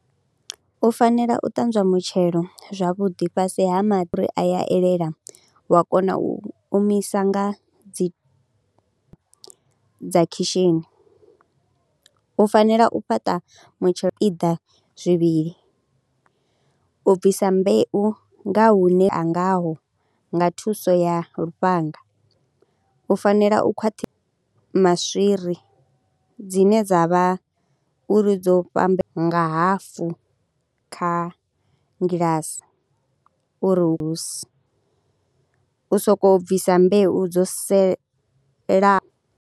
U fanela u ṱanzwa mutshelo zwavhuḓi fhasi ha mafhuri a ya elela wa kona u omisa nga dzi dza khishini, u fanela u fhaṱa mitshelo, zwipiḓa zwivhili u bvisa mbeu nga hune a ngaho nga thuso ya lufhanga, u fanela u khwaṱhi, maswiri dzine dza vha uri dzo fhamba, nga hafu kha ngilasi uri hu so, u sokou bvisa mbeu dzo selaho.